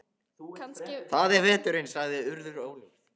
Það er veturinn- sagði Urður óljóst.